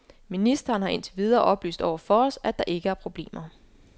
Ministeren har indtil videre oplyst over for os, at der ikke er problemer.